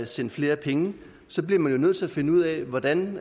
send flere penge så bliver man jo nødt til at finde ud af hvordan